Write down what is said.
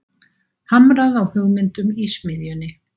Hamrað á hugmyndum í smiðjunni